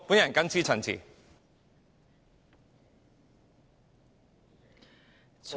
我謹此陳辭。